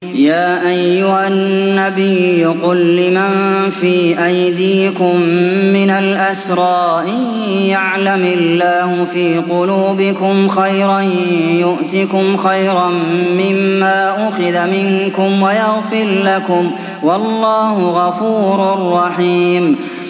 يَا أَيُّهَا النَّبِيُّ قُل لِّمَن فِي أَيْدِيكُم مِّنَ الْأَسْرَىٰ إِن يَعْلَمِ اللَّهُ فِي قُلُوبِكُمْ خَيْرًا يُؤْتِكُمْ خَيْرًا مِّمَّا أُخِذَ مِنكُمْ وَيَغْفِرْ لَكُمْ ۗ وَاللَّهُ غَفُورٌ رَّحِيمٌ